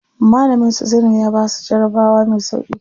Malamin su Zainab ya basu jarabawa me sauƙi.